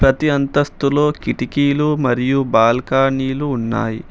ప్రతి అంతస్తులో కిటికీలు మరియు బాల్కనీలు ఉన్నాయి.